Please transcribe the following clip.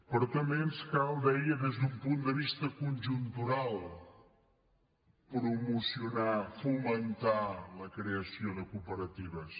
però també ens cal deia des d’un punt de vista conjuntural promocionar fomentar la creació de cooperatives